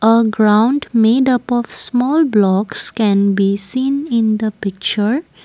a ground made up of small blocks can be seen in the picture.